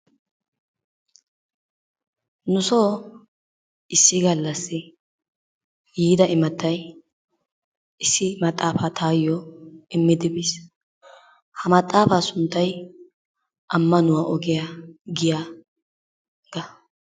Nusoo issi gallassi yiida imatay issi maxaafaa taayyo immidi biis. Ha maxaafaa sunttay ammanuwa ogiya giyaga.